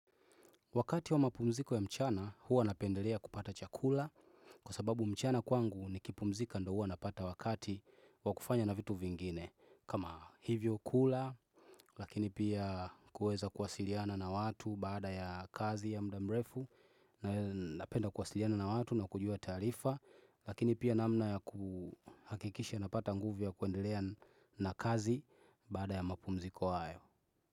Wakati wa mapumziko ya mchana huwa napendelea kupata chakula kwa sababu mchana kwangu nikipumzika ndiyo huwa napata wakati wa kufanya na vitu vingine. Kama hivyo kula lakini pia kuweza kuwasiliana na watu baada ya kazi ya muda mrefu na napenda kuwasiliana na watu na kujua taarifa lakini pia namna ya kuhakikisha napata nguvu ya kuendelea na kazi baada ya mapumziko hayo.